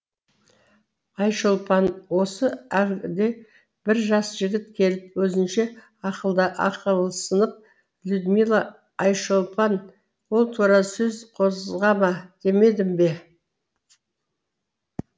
айшолпан осы әлгі бір жас жігіт келіп өзінше ақылсынып людмила айшолпан ол туралы сөз қозғама демедім бе